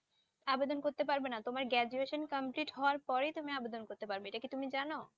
আবেদন করতে পারবে না তোমার graduation complete হওয়ার পরেই তুমি আবেদন করতে পারবে। এটা কি তুমি জানো